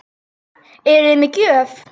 Eruði með gjöf?